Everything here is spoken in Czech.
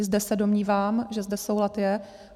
- I zde se domnívám, že zde soulad je.